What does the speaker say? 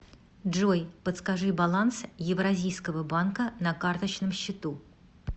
джой подскажи баланс евразийского банка на карточном счету